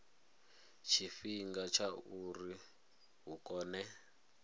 tshifhinga tsha uri hu kone